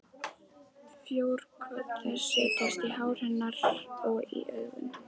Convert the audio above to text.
Frjókorn þess setjast á hár hennar og í augun.